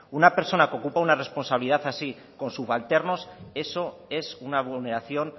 una persona que ocupa una responsabilidad así con subalternos eso es una vulneración